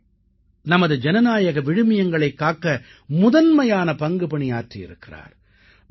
அவர்கள் நமது ஜனநாயக விழுமியங்களைக் காக்க முதன்மையான பங்குப்பணி ஆற்றியிருக்கிறார்